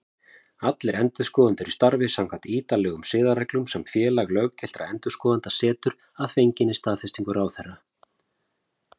Allir endurskoðendur starfi samkvæmt ítarlegum siðareglum sem Félag löggiltra endurskoðenda setur, að fenginni staðfestingu ráðherra.